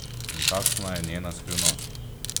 In kakšna je njena skrivnost?